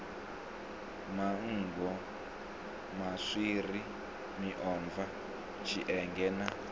manngo maswiri miomva tshienge na